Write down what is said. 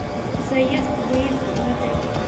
заезд выезд в отель